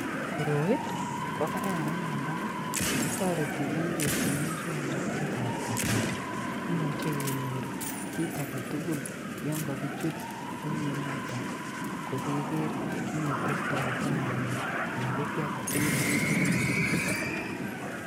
Koroi kokararan amun toreto bik kochut muswoknotetab kasari imuche kenyor kit agetugul yon kokichut orinoton kokeker kit netestoitaa emet anan ko kii agetugul nature en orit.